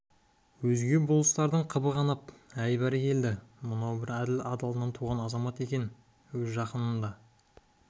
өзге болыстардың қыбы қанып әй бәрекелде мынау бір әділ адалынан туған азамат екен өз жақынын да